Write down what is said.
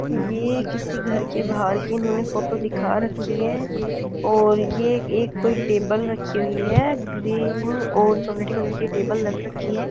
ये किसी घर के बाहर की इन्होंने फोटो दिखा रखी है और यह एक कोई टेबल रखी हुई है ग्रीन और चॉकलेटी कलर की टेबल रख रखी है--